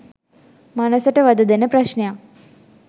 මනසට වධ දෙන ප්‍රශ්නයක්